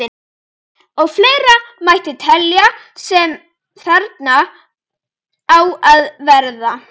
Og fleira mætti telja sem þarna á að verða.